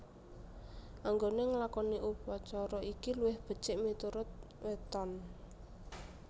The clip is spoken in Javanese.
Anggone nglakoni upacara iki luwih becik miturut weton